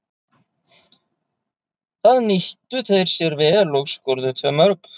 Það nýttu þeir sér vel og skoruðu tvö mörk.